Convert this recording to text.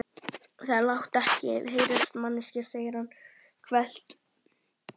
Láttu þetta ekki heyrast manneskja, segir hann hvellt.